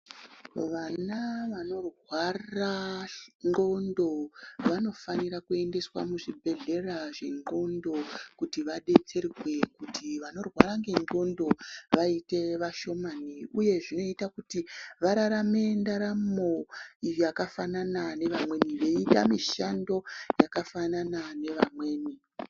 Vana vanorwara ndxondo vanofanirwa kuendeswa muzvibhedhlera zvendxondo kuti vadetserwe kuti vanorwara nendxondo vaite vashomani uyezve zvinoita kuti vararame ndaramo yakafanana nevamweni veiita mishando yakafanana nevamweni.